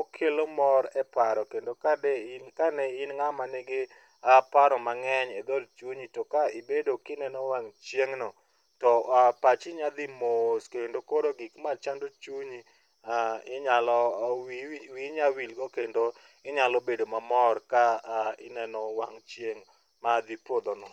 okelo mor e paro kendo ka ne in ng'ama nigi paro mang'eny e dhood chunyi to ka ibedo ka ineno wang' chieng'no to pachi nyalo dhi mos kendo koro gik machando chunyi koro wiyi nyalo wilgo kendo inyalo bedo mamor ka ineno wang' chieng' madhi podho no.